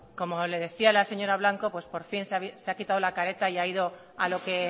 como le decía la señora blanco por fin se ha quitado la cartea y ha ido a lo que